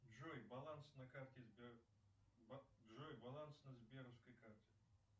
джой баланс на карте сбер джой баланс на сберовской карте